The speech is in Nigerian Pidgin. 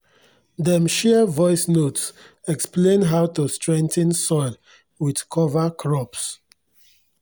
dem share voice notes explain how to strengthen soil with cover crops